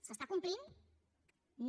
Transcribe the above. s’està complint no